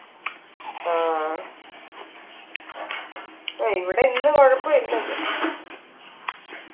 ആ ഏയ് ഇവിടെ ഇന്ന് കുഴപുല്ല ഇന്ന്